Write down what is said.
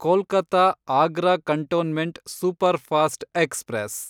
Kolkata Agra cantonment superfast express